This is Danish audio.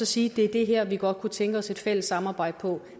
sige det er det her vi godt kunne tænke os et fælles samarbejde om